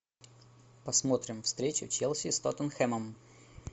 посмотрим встречу челси с тоттенхэмом